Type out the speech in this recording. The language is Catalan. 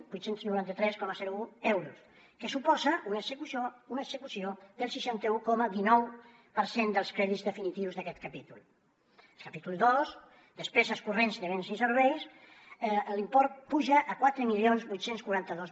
vuit cents i noranta tres coma un euros que suposa una execució del seixanta un coma dinou per cent dels crèdits definitius d’aquest capítol al capítol dos despeses corrents de béns i serveis l’import puja a quatre mil vuit cents i quaranta dos